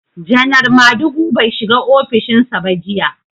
Janar Madugu bai shiga ofishin sa ba jiya.